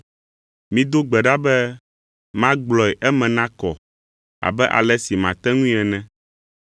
Mido gbe ɖa be magblɔe eme nakɔ abe ale si mate ŋui ene.